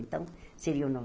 Então, seria o